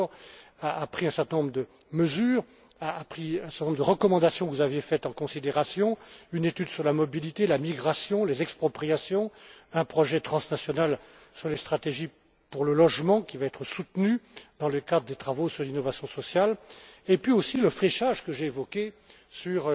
Andor a pris un certain nombre de mesures et a pris en considération un certain nombre de recommandations que vous aviez faites une étude sur la mobilité, la migration, les expropriations, un projet transnational sur les stratégies pour le logement, qui va être soutenu dans le cadre des travaux sur l'innovation sociale, et puis aussi le fléchage, que j'ai évoqué, sur